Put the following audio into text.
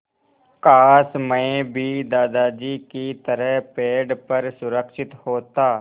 काश मैं भी दादाजी की तरह पेड़ पर सुरक्षित होता